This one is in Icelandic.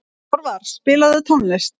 Þorvar, spilaðu tónlist.